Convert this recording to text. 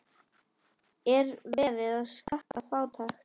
Er verið að skatta fátækt?